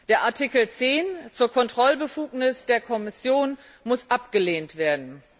Der Artikel 10 zur Kontrollbefugnis der Kommission muss abgelehnt werden.